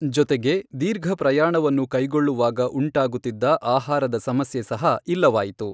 ಜೊತೆಗೆ ದೀರ್ಘಪ್ರಯಾಣವನ್ನು ಕೈಗೊಳ್ಳುವಾಗ ಉಂಟಾಗುತ್ತಿದ್ದ ಆಹಾರದ ಸಮಸ್ಯೆ ಸಹ ಇಲ್ಲವಾಯಿತು.